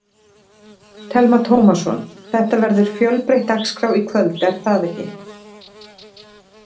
Telma Tómasson: Þetta verður fjölbreytt dagskrá í kvöld, er það ekki?